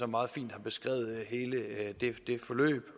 meget fint beskrevet hele det forløb